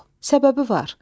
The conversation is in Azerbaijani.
Səbəbi var.